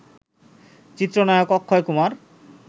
চিত্রনায়ক অক্ষয় কুমার